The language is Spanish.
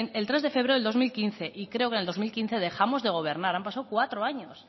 el tres de febrero del dos mil quince y creo que en el dos mil quince dejamos de gobernar han pasado cuatro años